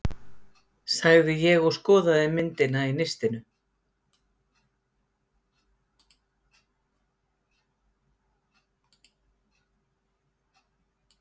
Með henni fór allmargt farþega, einkum kaupmenn og verslunarmenn